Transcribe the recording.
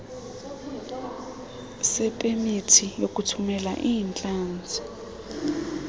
sepemithi yokuthumela iintlanzi